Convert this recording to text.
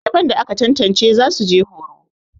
daliban da aka tantance za su je horo